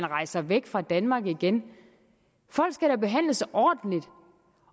rejser væk fra danmark igen folk skal da behandles ordentligt